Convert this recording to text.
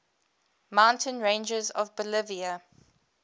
mountain ranges of bolivia